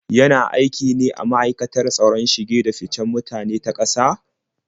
Yana aiki ne a ma'aikatar tsaron shige-da-ficen mutane na ƙasa?